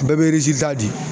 Bɛɛ be ta di.